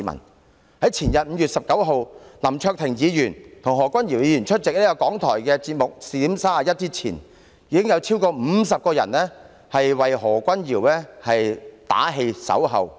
到了前天，在林卓廷議員和何君堯議員出席香港電台節目"視點 31" 之前，已有超過50人到場為何君堯議員打氣、守候。